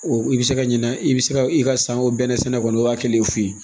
i bɛ se ka ɲina i bɛ se ka i ka san o bɛnɛ sɛnɛ kɔni i b'a kelen f'u ye